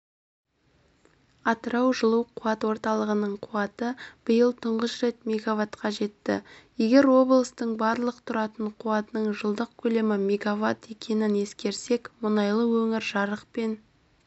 атырау жылу қуат орталығының қуаты биыл тұңғыш рет мегаваттқа жетті егер облыстың барлық тұтынатын қуатының жылдық көлемі мегаватт екенін ескерсек мұнайлы өңір жарық пен